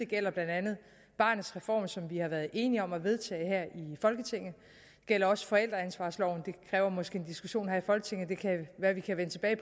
gælder blandt andet barnets reform som vi har været enige om at vedtage her i folketinget det gælder også forældreansvarsloven den kræver måske en diskussion her i folketinget og det kan være at vi kan vende tilbage